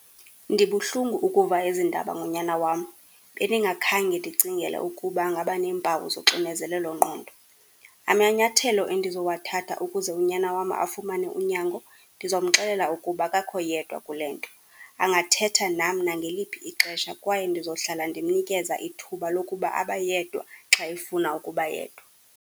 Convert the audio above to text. Ndibuhlungu ukuva ezi ndaba ngonyana wam, bendingakhe ndicingele ukuba angaba neempawu zoxinezelelongqondo. Amanyathelo endizowathatha ukuze unyana wam afumane unyango, ndizomxelela ukuba akakho yedwa kule nto, angathetha nam nangeliphi ixesha kwaye ndizohlala ndimnikeza ithuba lokuba abe yedwa xa efuna ukuba yedwa.